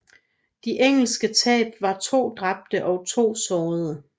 De engelske tab var to dræbte og to sårede